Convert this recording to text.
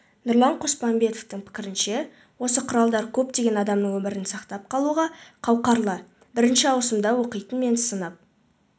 нұрлан қосмамбетовтың пікірінше осы құралдар көптеген адамның өмірін сақтап қалуға қауқарлы бірінші ауысымда оқитын мен сынып